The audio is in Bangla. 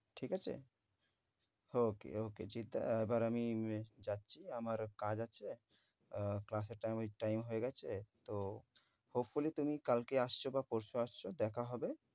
ঠিক আছে? okay okay জিৎ দা এবার আমি রাখছি আমার কাজ আছে, class এর time ঐ~ time হয়ে গেছে। তো hopefully তুমি কালকে আসছ বা পরশু আসছ দেখা হবে।